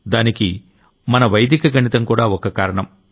దానికి మన వైదిక గణితం కూడా ఓ కారణం